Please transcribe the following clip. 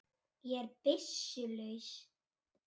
Ég er byssu laus.